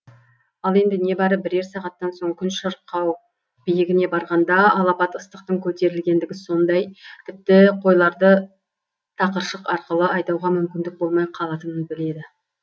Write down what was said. ал енді небәрі бірер сағаттан соң күн шырқау биігіне барғанда алапат ыстықтың көтерілетіндігі сондай тіпті қойларды тақыршық арқылы айдауға мүмкіндік болмай қалатынын біледі